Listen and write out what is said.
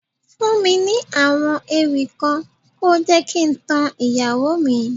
Fún mi ní àwọ̀ ewì kan, ko jẹ́ kí n tan ìyàwó mi.